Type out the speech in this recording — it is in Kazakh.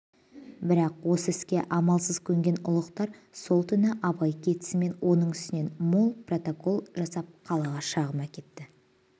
бірақ осы іске амалсыз көнген ұлықтар сол күні абай кетісімен оның үстінен мол протокол жасап қалаға шағым әкетті